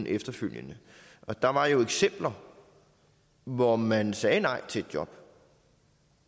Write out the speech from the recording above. efterfølgende og der var jo eksempler hvor man sagde nej til et job